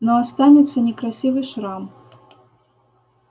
но останется некрасивый шрам